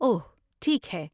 اوہ! ٹھیک ہے